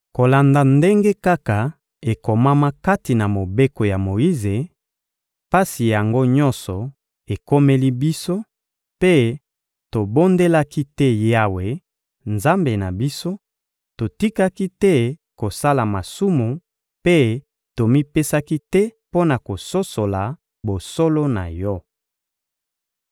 Kolanda ndenge kaka ekomama kati na Mobeko ya Moyize, pasi yango nyonso ekomeli biso; mpe tobondelaki te Yawe, Nzambe na biso; totikaki te kosala masumu mpe tomipesaki te mpo na kososola bosolo na Yo.